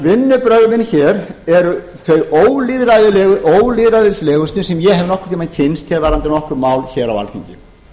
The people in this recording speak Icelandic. vinnubrögðin hér eru því þau ólýðræðislegustu sem ég hef nokkurn tíma kynnst varðandi nokkur mál hér á alþingi